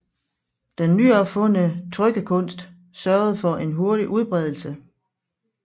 Den nyopfundne trykkekunst sørgede for en hurtig udbredelse